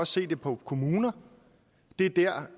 se det på kommuner bliver